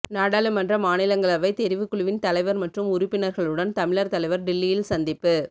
நாடாளுமன்ற மாநிலங்களவை தெரிவுக் குழுவின் தலைவர் மற்றும் உறுப்பினர்களுடன் தமிழர் தலைவர் டில்லியில் சந்திப்பு